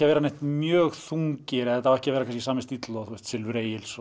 að vera ekki mjög þungir þetta á ekki að vera sami stíll og kannski Silfur Egils